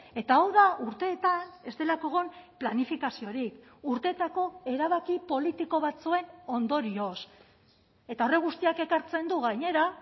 eta hau da urteetan ez delako egon planifikaziorik urteetako erabaki politiko batzuen ondorioz eta horrek guztiak ekartzen du gainera